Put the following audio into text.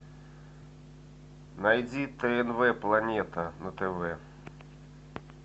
найди тнв планета на тв